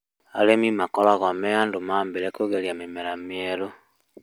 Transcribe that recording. Arĩmi makoragwo me andũ a mbere kũgeria mĩmera mĩerũ